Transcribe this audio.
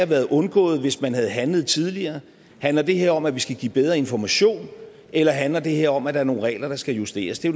være undgået hvis man havde handlet tidligere handler det her om at vi skal give bedre information eller handler det her om at der er nogle regler der skal justeres det